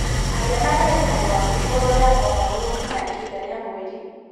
Aria na ndagĩtarĩ waku igũrũ rĩgiĩ mogarũrũku ma ihinda rĩa mweri.